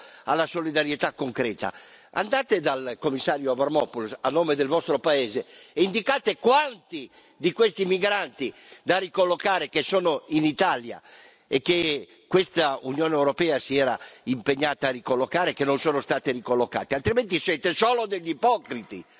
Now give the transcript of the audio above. Passiamo alla solidarietà concreta, andate dal commissario Avramopoulos, a nome del vostro Paese, e indicate quanti di questi migranti da ricollocare, che sono in Italia e che questa Unione europea si era impegnata a ricollocare, che non sono stati ricollocati, altrimenti siete solo degli ipocriti.